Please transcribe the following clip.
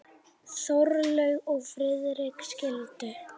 Þórlaug og Friðrik skildu.